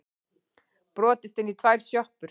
Brotist inn í tvær sjoppur